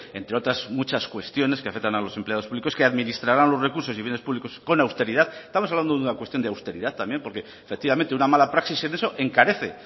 entre otras muchas cuestiones que afectan a los empleados públicos que administrarán los recursos y bienes públicos con austeridad estamos hablando de una cuestión de austeridad también porque efectivamente una mala praxis en eso encarece